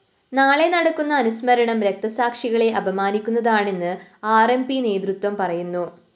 നാളെ നടക്കുന്ന അനുസ്മരണം രക്തസാക്ഷികളെ അപമാനിക്കുന്നതാണെന്ന് ആർ എം പി നേതൃത്വവും പറയുന്നു